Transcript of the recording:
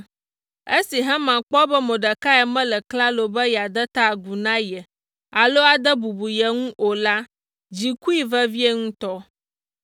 Esi Haman kpɔ be Mordekai mele klalo be yeade ta agu na ye alo ade bubu ye ŋu o la, dzi kui vevie ŋutɔ.